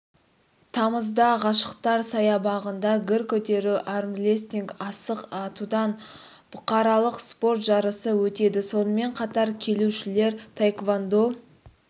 тамызда ғашықтар саябағында гір көтеру армрестлинг асық атудан бұқаралық спорт жарысы өтеді сонымен қатар келушілер таэквондо